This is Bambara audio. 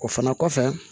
O fana kɔfɛ